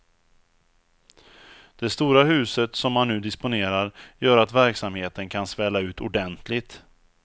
Det stora huset som man nu disponerar gör att verksamheten kan svälla ut ordentligt.